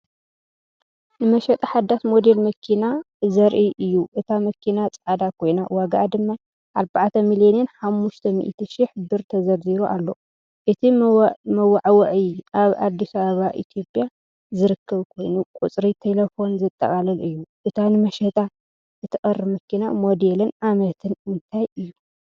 ንመሸጣ ሓዳስ ሞዴል መኪና ዘርኢ እዩ። እታ መኪና ጻዕዳ ኮይና ዋጋኣ ድማ 4,500,000 ብር ተዘርዚሩ ኣሎ። እቲ መወዓውዒ ኣብ ኣዲስ ኣበባ ኢትዮጵያ ዝርከብ ኮይኑ፡ ቁጽሪ ተሌፎን ዘጠቓልል እዩ። እታ ንመሸጣ እትቐርብ መኪና ሞዴልን ዓመትን እንታይ እዩ?